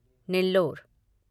Nellore